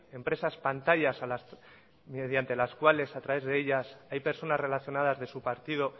empresas pantallas mediante las cuales a través de ellas hay personas relacionadas de su partido